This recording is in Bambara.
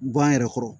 Gan yɛrɛ kɔrɔ